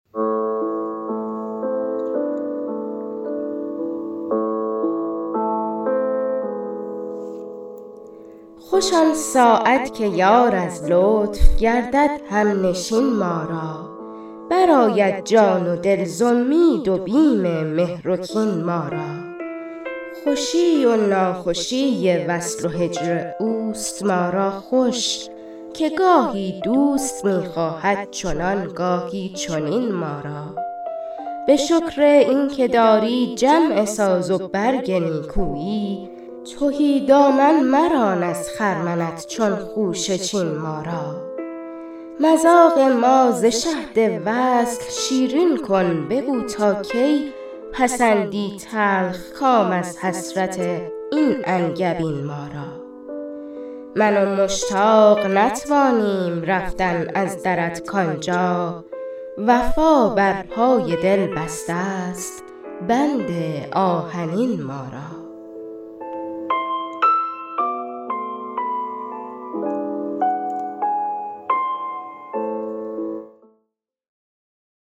خوش آن ساعت که یار از لطف گردد همنشین ما را برآید جان و دل ز امید و بیم مهر و کین ما را خوشی و ناخوشی وصل و هجر اوست ما را خوش که گاهی دوست میخواهد چنان گاهی چنین ما را به شکر این که داری جمع ساز و برگ نیکویی تهی دامن مران از خرمنت چون خوشه چین ما را مذاق ما ز شهد وصل شیرین کن بگو تاکی پسندی تلخ کام از حسرت این انگبین ما را من و مشتاق نتوانیم رفتن از درت کانجا وفا برپای دل بسته است بند آهنین ما را